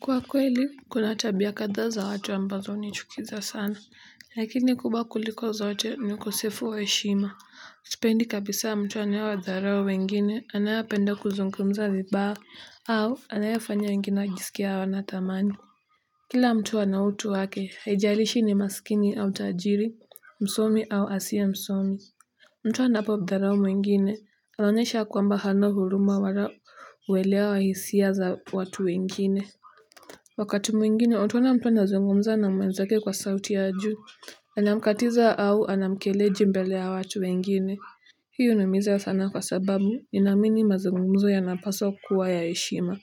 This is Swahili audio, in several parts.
Kwa kweli kuna tabia kadha za watu ambazo hunichukiza sana lakini kubwa kuliko zote ni ukosefu wa heshima sipendi kabisa mtu anaye wadharau wengine anayependa kuzungumza vibaya au anayefanya wengine wajisikie hawana thamani kila mtu ana utu wake haijalishi ni masikini au tajiri msomi au asiye msomi mtu anapo mdharau mwengine anaonyesha kwamba hana huruma wala uelewa wa hisia za watu wengine wakati mwingine, utaona mtu anazungumza na mwenzake kwa sauti ya juu. Anamkatiza au anamkejeli mbele ya watu wengine. Hii huniumiza sana kwa sababu, ninaamini mazungumzo yanapaswa kuwa ya heshima.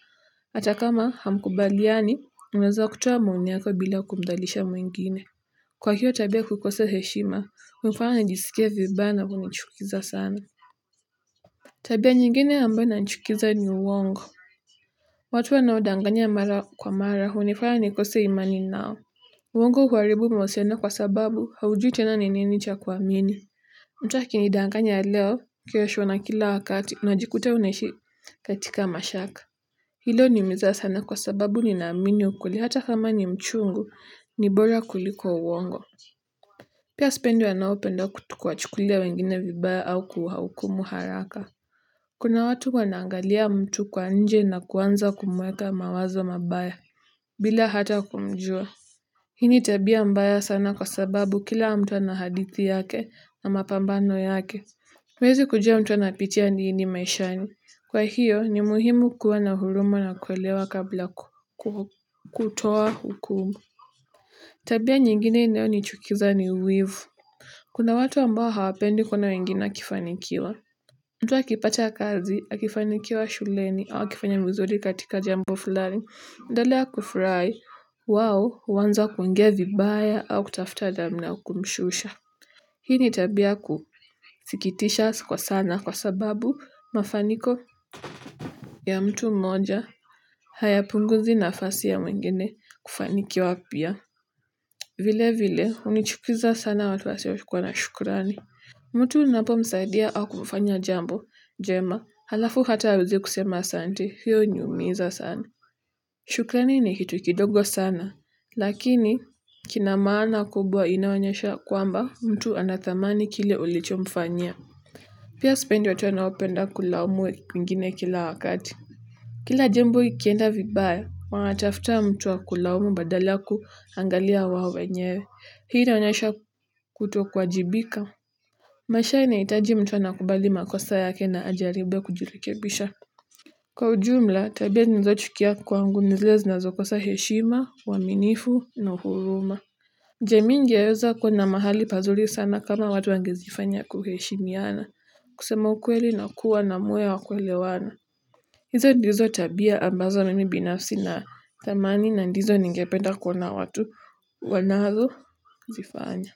Hata kama hamkubaliani, unaweza ukatoa maoni yako bila kumdhalilisha mwingine. Kwa hiyo tabia ya kukosa heshima, hunifanya nijisikie vibaya na hunichukiza sana. Tabia nyingine ambayo inanichukiza ni uongo. Watu wanaodanganya mara kwa mara hunifanya nikose imani nao. Uongo uharibu mahusiano kwa sababu haujui tena ni nini cha kuamini. Mtu akinidanganya leo kesho na kila wakati unajikuta unaishi katika mashaka. Hilo huniumiza sana kwa sababu ninaamini ukweli hata kama ni mchungu, ni bora kuliko uongo pia sipendi wanaopenda kuwachukulia wengine vibaya au kuwahukumu haraka. Kuna watu wanaangalia mtu kwa nje na kuanza kumuweka mawazo mabaya. Bila hata kumjua. Hii ni tabia mbaya sana kwa sababu kila mtu ana hadithi yake na mapambano yake. Huwezi kujua mtu anapitia nini maishani. Kwa hiyo ni muhimu kuwa na huruma na kuelewa kabla kutoa hukumu. Tabia nyingine inayonichukiza ni wivu. Kuna watu ambao hawapendi kuona wengine wakifanikiwa. Mtu akipata kazi, akifanikiwa shuleni, au akifanya vizuri katika jambo fulani, endelea kufurahi, wao, huanza kuonga vibaya au kutafuta namna ya kumshusha. Hii ni tabia ya kusikitisha kwa sana kwa sababu mafanikio ya mtu mmoja, hayapunguzi nafasi ya mwengine kufanikiwa pia. Vile vile, hunichukiza sana watu wasio kuwa na shukurani. Mtu unapomsaidia au kumfanya jambo, njema, alafu hata hawezi kusema asante, hiyo huniumiza sana. Shukrani ni kitu kidogo sana, lakini kina maana kubwa inayo onyesha kwamba mtu anathamani kile ulichomfanyia. Pia sipendi watu wanaopenda kulaumu wengine kila wakati. Kila jambo ikienda vibaya, wanatafuta mtu wa kulaumu badala kuangalia wao wenyewe. Hii inaonyesha kutokuwajibika. Maisha inahitaji mtu anakubali makosa yake na ajaribu kujirekebisha. Kwa ujumla, tabia ninazochukia kwangu ni zile zinazokosa heshima, uaminifu na huruma. Je mimi ningeweza kuwa na mahali pazuri sana kama watu wangezifanya kuheshimiana. Kusema ukweli na kuwa na moyo wa kuelewana. Hizo ndizo tabia ambazo mimi binafsi nathamani na ndizo ningependa kuona watu wanazozifanya.